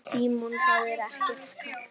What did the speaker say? Símon: Það er ekkert kalt?